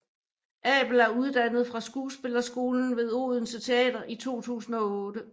Abel er uddannet fra Skuespillerskolen ved Odense Teater i 2008